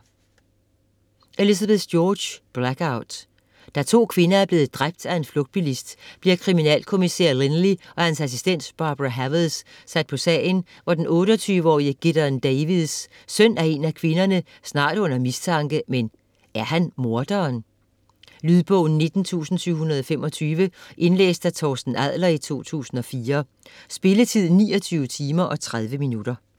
George, Elizabeth: Blackout Da to kvinder er blevet dræbt af en flugtbilist, bliver kriminalkommissær Lynley og hans assistent Barbara Havers sat på sagen, hvor den 28-årige Gideon Davies, søn af en af kvinderne, snart er under mistanke, men er han morderen? Lydbog 19725 Indlæst af Torsten Adler, 2004. Spilletid: 29 timer, 30 minutter.